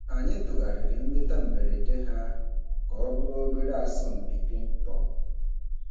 Anyị tụgharịrị nleta mberede ha ahu ka ọ bụrụ obere asọmpi pịng pọng.